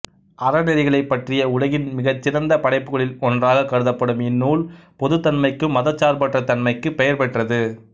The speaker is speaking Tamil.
அறநெறிகளைப் பற்றிய உலகின் மிகச்சிறந்த படைப்புகளில் ஒன்றாகக் கருதப்படும் இந்நூல் பொதுத்தன்மைக்கும் மதச்சார்பற்ற தன்மைக்குப் பெயர் பெற்றது